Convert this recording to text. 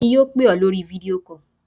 Èmi yóò pè ọ́ lórí video call.